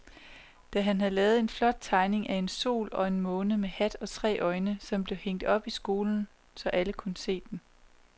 Dan havde lavet en flot tegning af en sol og en måne med hat og tre øjne, som blev hængt op i skolen, så alle kunne se den.